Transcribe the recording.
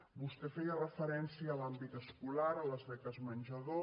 vostè feia referència a l’àmbit escolar a les beques menjador